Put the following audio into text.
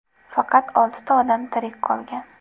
Faqat oltita odam tirik qolgan.